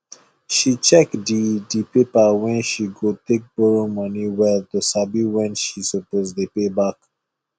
she check the the paper wey she go take borrow money well to sabi when she suppose dey pay back